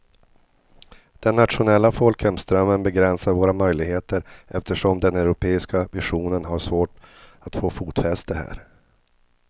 Den nationella folkhemsdrömmen begränsar våra möjligheter eftersom den europeiska visionen har svårt att få fotfäste här.